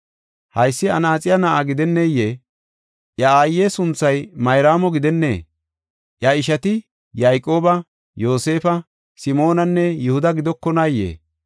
Haysi anaaxiya na7aa gidenneyee? Iya aaye sunthay Mayraamo gidennee? Iya ishati Yayqooba, Yoosefa, Simoonanne Yihuda gidokonaayee?